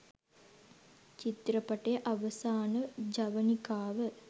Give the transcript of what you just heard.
චිත්‍රපටය අවසාන ජවනිකාව